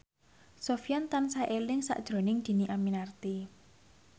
Sofyan tansah eling sakjroning Dhini Aminarti